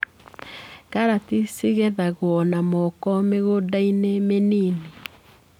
Karati cigethagwo na moko mĩgũndainĩ mĩnini.